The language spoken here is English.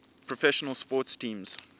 professional sports teams